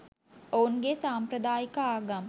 ඔවුන්ගේ සම්ප්‍රදායික ආගම්